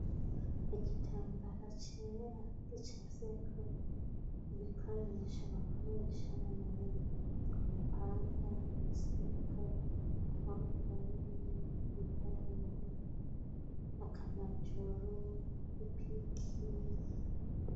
Igitambara cera r'ica seko ibikoresho bakoresha mu murimo amapanga isuka inkorokani igipaho akanajoro ipiki.